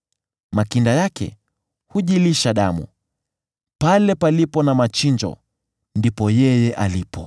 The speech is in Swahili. Makinda yake hujilisha damu, na pale palipo na machinjo, ndipo yeye alipo.”